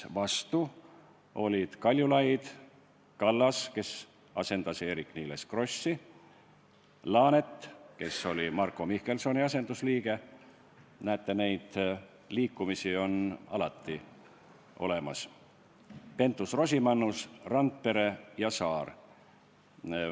Vastu olid Kaljulaid, Kallas, kes asendas Eerik-Niiles Krossi, Laanet, kes oli Marko Mihkelsoni asendusliige – näete, neid liikumisi on alati –, Pentus-Rosimannus, Randpere ja Saar.